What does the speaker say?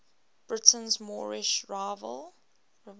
britain's moorish revival